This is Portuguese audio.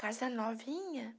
Casa novinha.